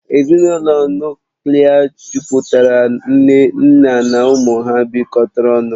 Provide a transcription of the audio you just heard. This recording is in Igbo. Ezinụlọ Nuklia mejupụtara nne na nna na ụmụ ha bịkotara ọnụ